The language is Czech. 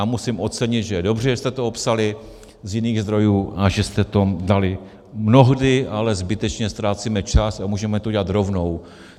A musím ocenit, že je dobře, že jste to opsali z jiných zdrojů a že jste to dali mnohdy, ale zbytečně ztrácíme čas a můžeme to udělat rovnou.